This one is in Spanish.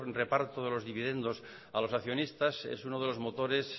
reparto de los dividendos a los accionistas es uno de los motores